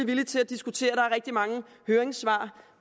villige til at diskutere der er rigtig mange høringssvar